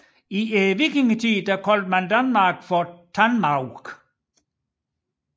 I vikingetiden kaldtes Danmark for Tanmaurk